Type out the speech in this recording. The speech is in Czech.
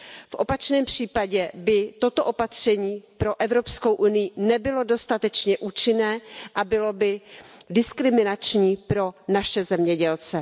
V opačném případě by toto opatření pro Evropskou unii nebylo dostatečně účinné a bylo by diskriminační pro naše zemědělce.